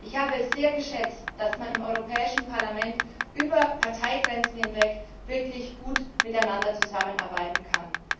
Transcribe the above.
Ich habe es sehr geschätzt, dass man im Europäischen Parlament über Parteigrenzen hinweg wirklich gut miteinander zusammenarbeiten kann.